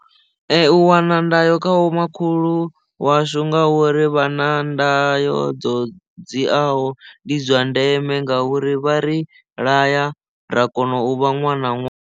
U wana ndayo kha vhomakhulu washu nga uri vha na ndayo dzo dziaho ndi zwa ndeme ngauri vha ri laya ra kona u vha ṅwana ṅwana.